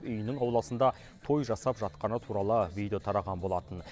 үйінің ауласында той жасап жатқаны туралы видео тараған болатын